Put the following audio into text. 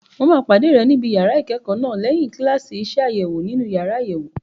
Mo máa pàdé rẹ níbi yàrá ìkẹ́kọ̀ọ́ náà lẹ́yìn kíláàsì iṣẹ́ àṣewò nínú yàrá àyẹ̀wò.